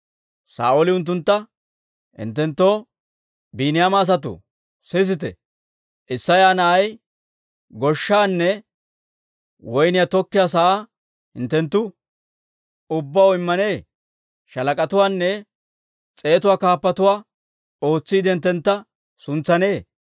Saa'ooli unttuntta, «Hinttenttoo, Biiniyaama asatoo, sisite! Isseya na'ay goshshaanne woyniyaa tokkiyaa sa'aa hinttenttu ubbaw immanee? Shaalak'atuwaanne s'eetuwaa kaappatuwaa ootsiide hinttentta suntsanee?